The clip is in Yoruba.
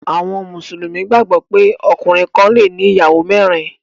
Àwọn Mùsùlùmí gbàgbó pé ọkùnrin kán le ní ìyàwó mérin.